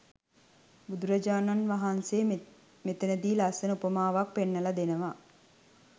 බුදුරජාණන් වහන්සේ මෙතනදි ලස්සන උපමාවක් පෙන්නල දෙනවා.